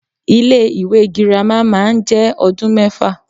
Ilé ìwé girama má a njé odún méfà